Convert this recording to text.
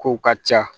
Kow ka ca